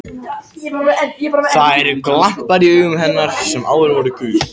Það eru glampar í augum hennar sem áður voru gul.